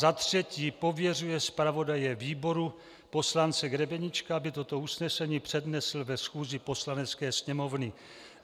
za třetí pověřuje zpravodaje výboru poslance Grebeníčka, aby toto usnesení přednesl ve schůzi Poslanecké sněmovny.